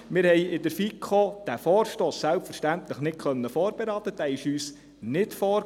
Wir konnten diesen Vorstoss in der FiKo selbstverständlich nicht vorberaten, er lag uns nicht vor.